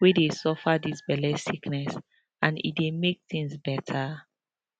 wey dey suffer dis belle sickness and e dey make tins beta